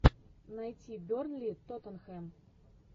найти бернли тоттенхэм